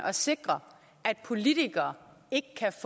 at sikre at politikere ikke kan